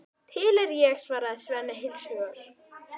Til er ég, svarar Svenni heils hugar.